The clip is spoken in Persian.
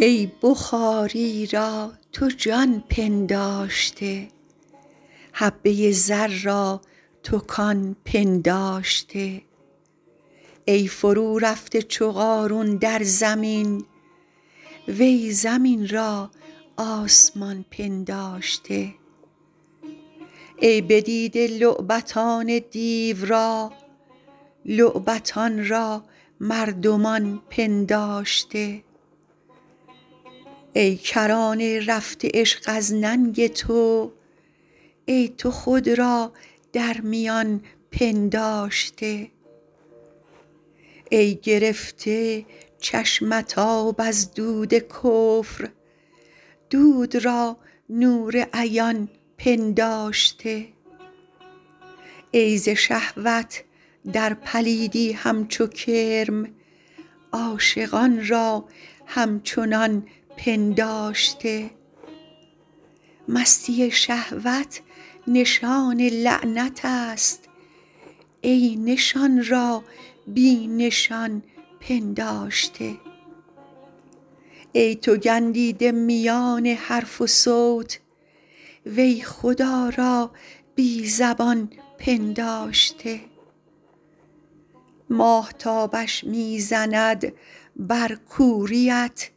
ای بخاری را تو جان پنداشته حبه زر را تو کان پنداشته ای فرورفته چو قارون در زمین وی زمین را آسمان پنداشته ای بدیده لعبتان دیو را لعبتان را مردمان پنداشته ای کرانه رفته عشق از ننگ تو ای تو خود را در میان پنداشته ای گرفته چشمت آب از دود کفر دود را نور عیان پنداشته ای ز شهوت در پلیدی همچو کرم عاشقان را همچنان پنداشته مستی شهوت نشان لعنت است ای نشان را بی نشان پنداشته ای تو گندیده میان حرف و صوت وی خدا را بی زبان پنداشته ماهتابش می زند بر کوریت